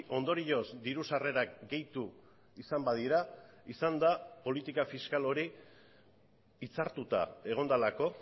ondorioz diru sarrerak gehitu izan badira izan da politika fiskal hori hitzartuta egon delako